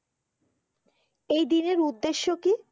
এই দিনের উদ্দেশ্য কি?